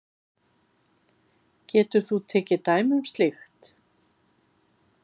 Getur þú tekið dæmi um slíkt?